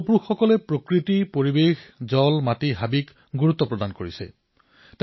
আমাৰ পূৰ্বপুৰুষসকলে প্ৰকৃতিক পৰিৱেশক জলক ভূমিক বননিক বহু গুৰুত্ব দিছিল